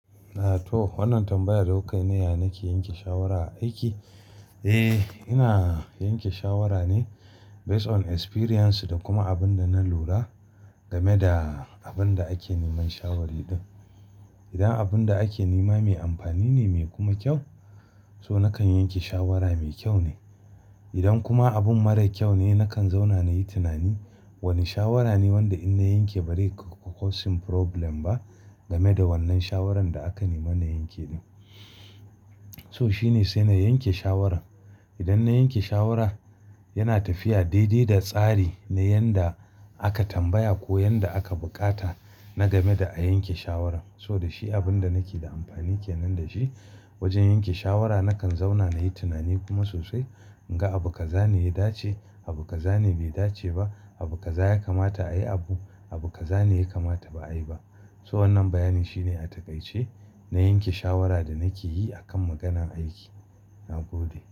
To, wannan tambaya da kukai, "N iya nake yanke shawara a aiki?" Eh, ina yanke shawara ne based on experience da kuma abin da na lura game da abin da ake neman shawari din. Idan abin da ake nema mai amfani ne, mai kuma kyau, so nakan yanke shawara mai kyau ne. Idan kuma abun mara kyau ne, nakan zauna na yi tunani wane shawara ne wanda in na yanke ba zai causing problem ba game da wannan shawaran da aka nemi na yanke. So shi ne sai na yanke shawaran. Idan na yanke shawara, yana tafiya daidai da tsari na yanda aka tambaya ko yanda aka buƙata na game da a yanke shawaran. So da shi abin da nake da amfani ke nan da shi wajen yanke shawara nakan zauna nayi tunani kuma sosai. Inga abu kaza ne ya dace, abu kaza ne bai dace ba, abu kaza ya kamata ayi abu, abu kaza ne ya kamata ba'ayi ba. So wannan bayanin shine a takaice na yanke shawara da nakeyi akan maganan aiki. Na gode.